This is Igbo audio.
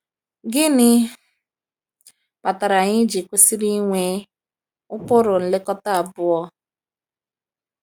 Gịnị kpatara anyị ji kwesịrị ịnwe ụkpụrụ nlekọta abụọ?